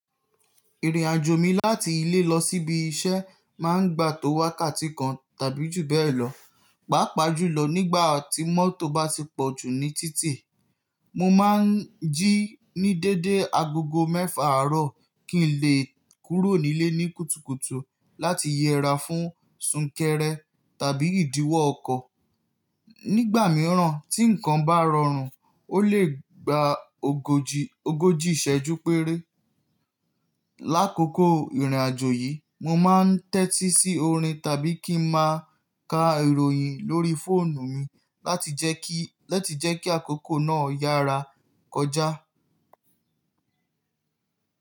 Ìrìnàjò mi láti ilé lọ síbi iṣẹ́ máa ń gba tó wákàtí kan tàbí jù bẹ́ẹ̀ lọ, pàápàá jùlọ nígbà tí mọ́tò bá ti pọ̀jù ní títì. Mo máa ń jí ní dédé agogo mẹ́fà àárọ̀ kí n lè kúrò nílé ní kùtùkùtù láti yẹra fún súnkẹrẹ tàbí ìdíwọ́ ọkọ̀. Nígbà mìíràn tí nǹkan bá rọrùn, ó lè gba ogójì ìṣẹ́jú péré. Lákokò ìrìnàjò yìí mo máa ń tẹ́tí sí orin tàbí kí n máa ka ìròyìn lórí fóònù mi láti jẹ́ kí àkókò náà yára kọjá.